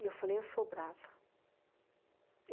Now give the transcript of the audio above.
E eu falei, eu sou brava.